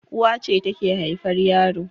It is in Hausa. Uwa ce take haifar yaro